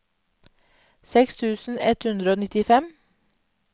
seks tusen ett hundre og nittifem